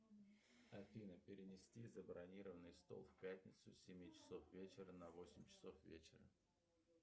афина перенести забронированный стол в пятницу с семи часов вечера на восемь часов вечера